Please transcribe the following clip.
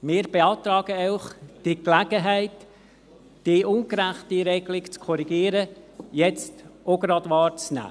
Wir beantragen Ihnen, die Gelegenheit wahrzunehmen und diese ungerechte Regelung jetzt auch gerade zu korrigieren.